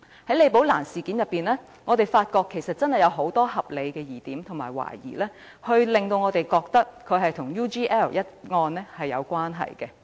從李寶蘭事件，我們發現真的有很多合理疑點和懷疑，令我們認為此事與 UGL 一案有關。